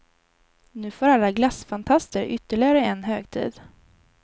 Nu får alla glassfantaster ytterligare en högtid.